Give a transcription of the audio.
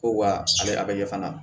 Ko wa a bɛ a bɛ ɲɛ fana